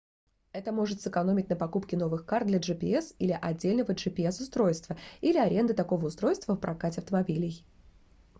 это может сэкономить на покупке новых карт для gps или отдельного gps-устройства или аренды такого устройства в прокате автомобилей